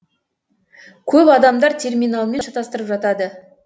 көп адамдар терминалмен шатастырып жатады